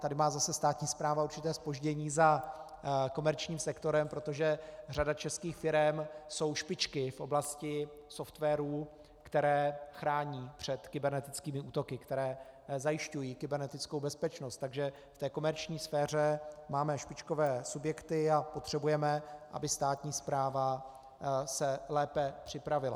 Tady má zase státní správa určité zpoždění za komerčním sektorem, protože řada českých firem jsou špičky v oblasti softwarů, které chrání před kybernetickými útoky, které zajišťují kybernetickou bezpečnost, takže v té komerční sféře máme špičkové subjekty a potřebujeme, aby státní správa se lépe připravila.